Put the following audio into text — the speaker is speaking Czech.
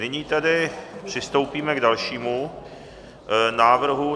Nyní tedy přistoupíme k dalšímu návrhu